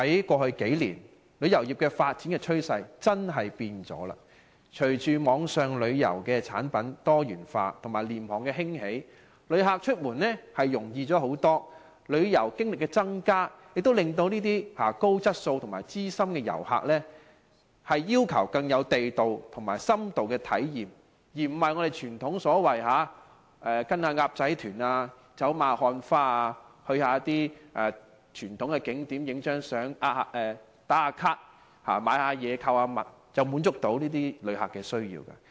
過去數年，旅遊業發展的趨勢的確改變了，隨着網上旅遊產品多元化和廉價航空興起，旅客出門容易很多，旅遊經歷增加，令高質素的資深旅客要求更地道更有深度的體驗，而不是傳統的跟"鴨仔團"走馬看花，去一些傳統景點拍一兩張照、"打卡"、購物，便可以滿足到這些旅客的需要。